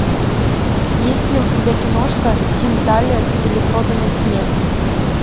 есть ли у тебя киношка тим тайлер или проданный смех